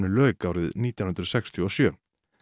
lauk árið nítján hundruð sextíu og sjö